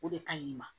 O de ka ɲi i ma